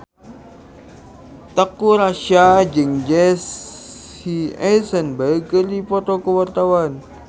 Teuku Rassya jeung Jesse Eisenberg keur dipoto ku wartawan